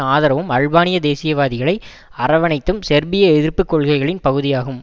ஆதரவும் அல்பானிய தேசியவாதிகளை அரவணைத்தும் செர்பிய எதிர்ப்பு கொள்கைகளின் பகுதியாகும்